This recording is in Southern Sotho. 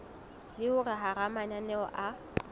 le hore hara mananeo a